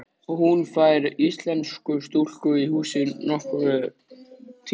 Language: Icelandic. Hún fær íslenska stúlku í húsið nokkurn tíma.